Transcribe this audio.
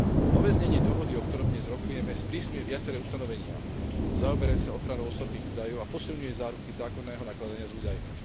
Nové znenie dohody, o ktorom dnes rokujeme, sprísňuje viaceré ustanovenia zaoberajúce sa ochranou osobných údajov a posilňuje záruky zákonného nakladania s údajmi.